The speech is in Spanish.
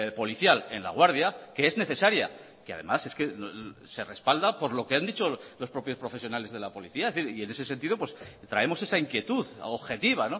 policial en laguardia que es necesaria que además es que se respalda por lo que han dicho los propios profesionales de la policía y en ese sentido traemos esa inquietud objetiva